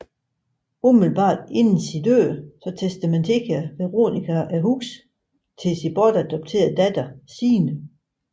Umiddelbart inden sin død testamenterer Veronika huset til sin bortadopterede datter Signe